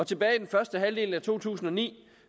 tilbage i den første halvdel af to tusind og ni